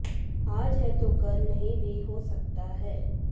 आज है तो कल नहीं भी हो सकता है